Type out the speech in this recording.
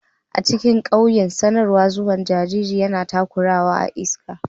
A cikin ƙauyen, sanarwar zuwan jariri yana ta kuruwa a iska.